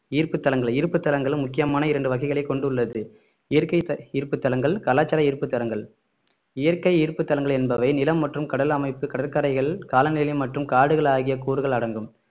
ஈர்ப்பு தலங்கள் ஈர்ப்பு தலங்கள் முக்கியமான இரண்டு வகைகளை கொண்டுள்ளது இயற்கை த~ இருப்பு தலங்கள் கலாச்சார ஈர்ப்பு தலங்கள் இயற்கை ஈர்ப்பு தலங்கள் என்பவை நிலம் மற்றும் கடல் அமைப்பு கடற்கரைகள் காலநிலை மற்றும் காடுகள் ஆகிய கூறுகள் அடங்கும்